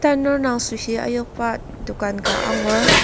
Tanur indang süoshi ayokba dokan ka angur.